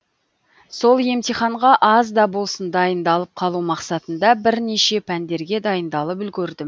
сол емтиханға аз да болсын дайындалып қалу мақсатында бірнеше пәндерге дайындалып үлгердім